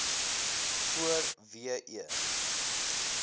voor w e